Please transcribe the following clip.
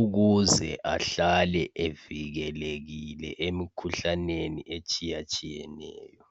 ukuze ahlale evikelekile emikhuhlaneni etshiyatshiyeneyo.